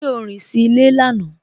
Ṣe o rín sí ilẹ̀ lánà?